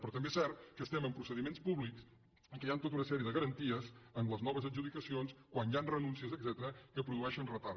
però també és cert que estem en procediments públics en què hi han tota una sèrie de garanties en les noves adjudicacions quan hi han renúncies etcètera que produeixen retard